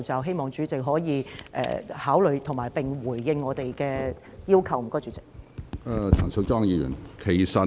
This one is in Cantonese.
希望主席考慮，並回應我們的要求，多謝主席。